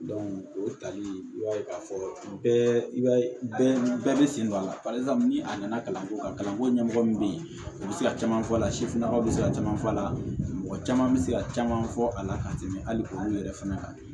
o tali i b'a ye k'a fɔ bɛɛ i b'a ye bɛɛ bɛ sen don a la ni a nana kalanko la kalanko ɲɛmɔgɔ min bɛ yen u bɛ se ka caman fɔ a la sifinnakaw bɛ se ka caman fɔ a la mɔgɔ caman bɛ se ka caman fɔ a la ka tɛmɛ hali olu yɛrɛ fana kan